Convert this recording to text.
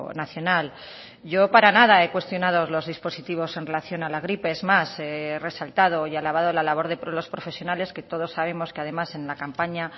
nacional yo para nada he cuestionado los dispositivos en relación a la gripe es más he resaltado y alabado la labor de los profesionales que todos sabemos que además en la campaña